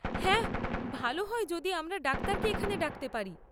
হ্যাঁ, ভাল হয় যদি আমরা ডাক্তারকে এখানে ডাকতে পারি।